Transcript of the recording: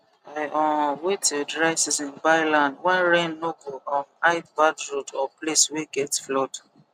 i um wait till dry season buy land when rain no go um hide bad road or place wey get flood